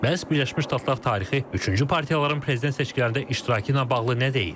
Bəs Birləşmiş Ştatlar tarixi üçüncü partiyaların prezident seçkilərində iştirakı ilə bağlı nə deyir?